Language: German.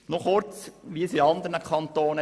Noch kurz etwas zu den anderen Kantonen.